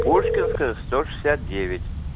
пушкинская сто шестьдесят девять